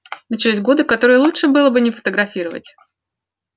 начались годы которые лучше было не фотографировать